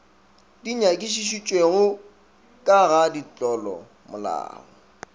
di nyakišišitšwego ka ga ditlolomolao